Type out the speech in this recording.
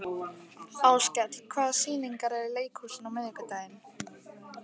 Áskell, hvaða sýningar eru í leikhúsinu á miðvikudaginn?